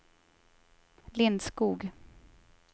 Lindskog